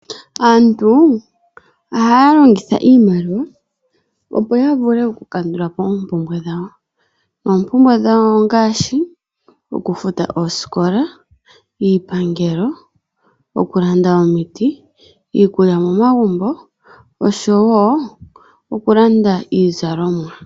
Aantu ohaya longitha iimaliwa, opo yavule okukandulapo oompumbwe dhawo. Oompumbwe dhawo ongaashi, okufuta oosikola, iipangelo, okulanda omiti, iikulya momagumbo, oshowo okulanda iizalomwa.